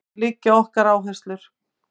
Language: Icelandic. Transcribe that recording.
Þar liggja okkar áherslur